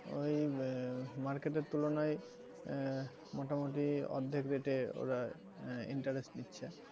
ওই uh market এর তুলনায় আহ মোটামুটি অর্ধেক rate এ ওরা আহ interest নিচ্ছে,